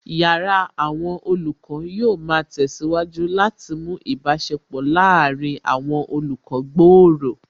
Yàrá àwọn olùkọ́ yóò ma tẹ̀síwájú láti mú ìbáṣepọ̀ láàárín àwọn olùkọ́ gbòòrò